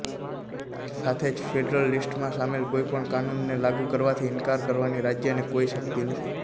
સાથે જ ફેડરલ લિસ્ટમાં સામેલ કોઈપણ કાનૂનને લાગુ કરવાથી ઇન્કાર કરવાની રાજ્યને કોઈ શક્તિ નથી